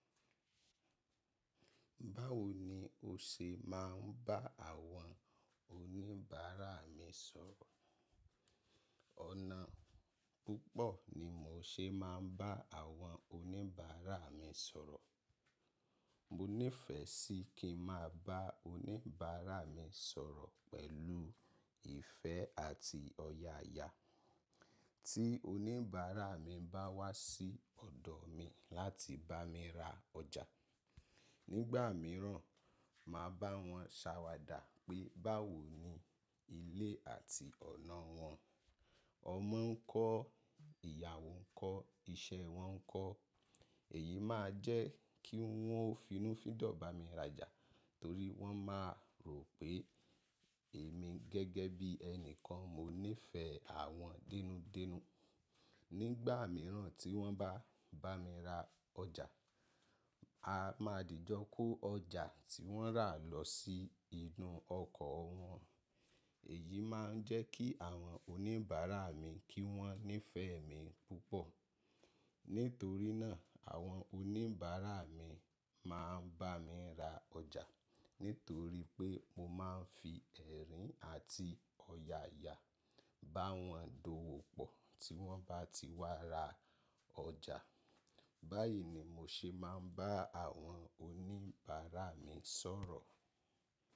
Báwo ni o ṣe máa ń bá àwọn oníbàárà mi sọ̀rọ̀? Ọ̀nà púpọ̀ ni mò ṣe máa ń bá àwọn oníbàárà mi sọ̀rọ̀. Mo nífẹ̀ẹ́ sí kí n máa bá oníbàárà mi sọ̀rọ̀ pẹ̀lú ìfẹ́ àti ọ̀yàyà. Tí oníbàárà mi bá wá sí ọ̀dọ̀ mi láti bá mi ra ọjà, nígbà mìíràn, màá bá wọn ṣàwàdà pé báwo ni ilé àti ọ̀nà wọn. Ọmọ ń kọ́, ìyàwó ń kọ́, iṣẹ́ wọn ń kọ́. Èyí máa jẹ́ kí wọ́n òfinúfíndọ̀ bá mi rajà torí wọ́n máa rò pé èmi gẹ́gẹ́ bí ẹnikan, mo nífẹ̀ẹ́ àwọn dénúdénu. Nígbà mìíràn tí wọ́n bá bá mi ra ọjà, a máa dìjọ kó ọjà tí wọ́n rà lọ sí inú ọkọ̀ wọn. Èyí máa ń jẹ́ kí àwọn oníbàárà mi kí wọ́n nífẹ̀ẹ́ mi púpọ̀. Nítorí náà, àwọn oníbàárà mi máa ń bá mi ra ọjà nítorí pé mo máa ń fi ẹ̀rín àti ọ̀yàyà bá wọn d'ówó pọ̀ tí wọ́n bá ti wá ra ọjà. Báyìí ni mo ṣe máa ń bá àwọn oníbàárà mi sọ̀rọ̀.